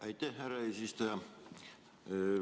Aitäh, härra eesistuja!